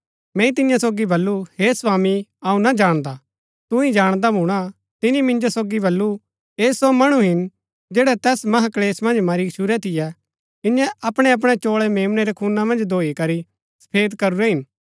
मैंई तियां सोगी बल्लू हे स्वामी अऊँ ना जाणदा तू ही जाणदा भूणा तिनी मिंजो सोगी बल्लू ऐह सो मणु हिन जैड़ै तैस महाक्लेश मन्ज मरी गच्छुरै थियै इन्यै अपणै अपणै चोळै मेम्नै रै खूना मन्ज धोई करी सफेद करूरै हिन